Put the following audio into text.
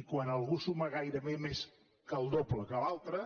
i quan algú suma gairebé més del doble que l’altre